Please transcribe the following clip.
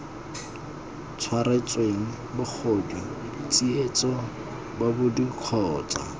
tshwaretsweng bogodu tsietso bobodu kgotsa